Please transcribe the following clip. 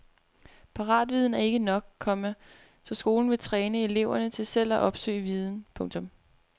Paratviden er ikke nok, komma så skolen vil træne eleverne til selv at opsøge viden. punktum